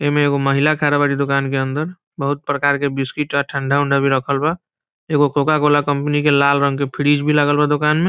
एमे एगो महिला खड़ा बारी दुकान के अन्दर बहुत प्रकार के बिस्कुट आ ठंडा-वंडा भी रखल बा एगो कोका कोला कंपनी के लाल रंग के फ्रिज भी लागल बा दुकान में ।